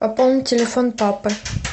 пополнить телефон папы